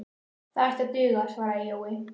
Það ætti að duga, svaraði Jói.